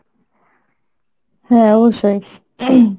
হ্যাঁ অবশ্যই। ing